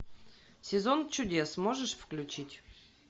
сезон чудес можешь включить